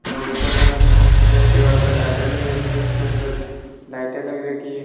और ऊपर सफेद दीवारों पर टाइल लग रखी है छत पर लाइट लग रखी है।